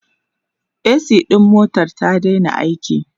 a.c ɗin motar ta Daina aiki